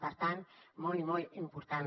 per tant molt i molt important